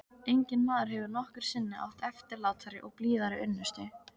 Enginn maður hefur nokkru sinni átt eftirlátari og blíðari unnustu.